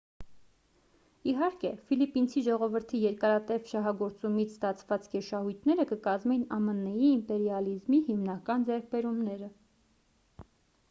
իհարկե ֆիլիպինցի ժողովրդի երկարատև շահագործումից ստացված գերշահույթները կկազմեին ամն-ի իմպերիալիզմի հիմնական ձեռքբերումները